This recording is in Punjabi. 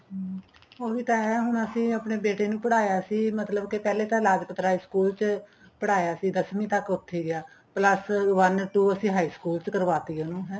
ਹਮ ਉਹੀ ਤਾਂ ਹੈ ਹੁਣ ਵੀ ਤਾਂ ਇਹ ਏ ਹੁਣ ਅਸੀਂ ਆਪਣੇ ਬੇਟੇ ਪੜ੍ਹਾਇਆ ਸੀ ਪਹਿਲੇ ਤੇ ਲਾਜਪਤ ਰਾਏ school ਚ ਪੜ੍ਹਾਇਆ ਸੀ ਦਸਵੀ ਤੱਕ ਉੱਥੇ ਗਿਆ plus one two ਅਸੀਂ high school ਚ ਕਰਵਾਤੀ ਉਹਨੂੰ ਹੈ